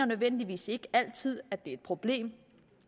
nødvendigvis altid at det er et problem